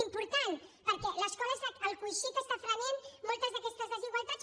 important perquè l’escola és el coixí que frena moltes d’aquestes desigualtats